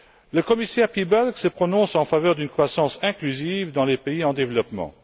Le commissaire Piebalgs se prononce en faveur d'une croissance inclusive dans les pays en développement.